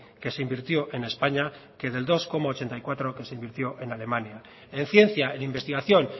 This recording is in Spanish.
que se invirtió en españa que del dos coma ochenta y cuatro que se invirtió en alemania en ciencia en investigación